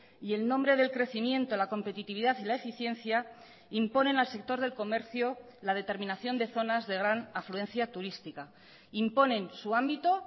y el nombre del crecimiento la competitividad y la eficiencia imponen al sector del comercio la determinación de zonas de gran afluencia turística imponen su ámbito